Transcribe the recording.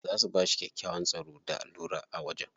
Za su bashi kyakkyawan tsaro da lura a wajen.